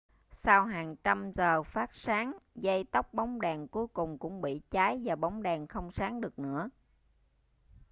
sau hàng trăm giờ phát sáng dây tóc bóng đèn cuối cùng cũng bị cháy và bóng đèn không sáng được nữa